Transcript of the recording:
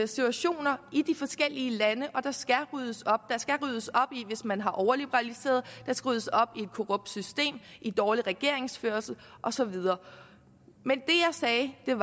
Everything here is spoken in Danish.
situationer i de forskellige lande og der skal ryddes op der skal ryddes op hvis man har overliberaliseret der skal ryddes op i et korrupt system i dårlig regeringsførelse og så videre men det jeg